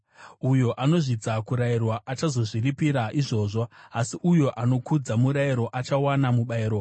Uyo anozvidza kurayirwa achazozviripira izvozvo, asi uyo anokudza murayiro achawana mubayiro.